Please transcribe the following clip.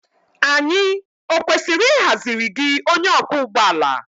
Anyị ọ kwesịrị ịhaziri gị onye ọkwọ ụgbọ ala?